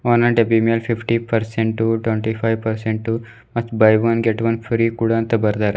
ಒಂದೊಂದು ಡಬ್ಬಿ ಮೇಲೆ fifty percent twenty five percent ಮತ್ buy one get one free ಕೂಡ ಅಂತ ಬರ್ದಾರ.